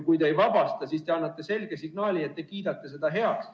Kui te neid ei vabasta, siis te annate selge signaali, et te kiidate seda kõike heaks.